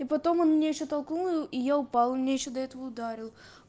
и потом он меня ещё толкнул и я упала он меня ещё до этого ударил